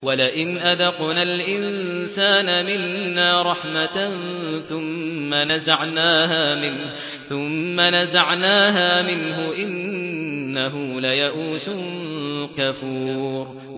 وَلَئِنْ أَذَقْنَا الْإِنسَانَ مِنَّا رَحْمَةً ثُمَّ نَزَعْنَاهَا مِنْهُ إِنَّهُ لَيَئُوسٌ كَفُورٌ